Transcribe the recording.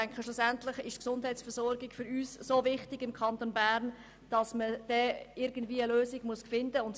Schlussendlich ist die Gesundheitsversorgung für uns im Kanton Bern so wichtig, dass man irgendeine Lösung wird finden müssen.